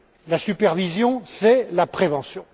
La supervision, c'est la prévention.